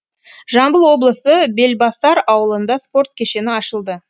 жамбыл облысы белбасар ауылында спорт кешені ашылды